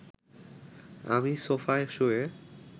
আমি সোফায় শুয়ে